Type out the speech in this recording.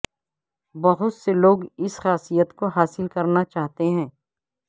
بہت سے لوگ اس خاصیت کو حاصل کرنا چاہتے ہیں